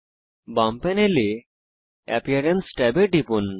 বাম প্যানেলে এপিয়ারেন্স ট্যাবে টিপুন